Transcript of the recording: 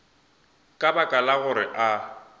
ka baka la gore a